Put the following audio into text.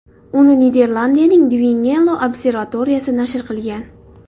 Uni Niderlandiyaning Dwingeloo observatoriyasi nashr qilgan.